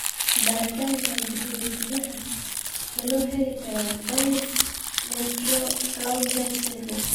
Baaritaanka hidde-sidaha ma loo heli karaa Dyggve Melchior Clausen syndrome?